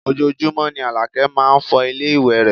Ojoojúmọ́ ni Àlàkẹ́ máá ń fọ ilé ìwé rẹ̀